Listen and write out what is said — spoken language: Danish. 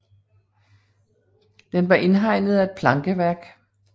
Den var indhegnet af et plankeværk